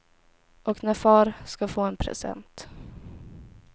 Och när far ska få en present.